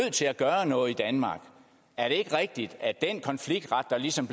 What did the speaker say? til at gøre noget i danmark er det ikke rigtigt at den konfliktret der ligesom